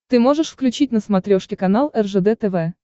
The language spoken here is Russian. ты можешь включить на смотрешке канал ржд тв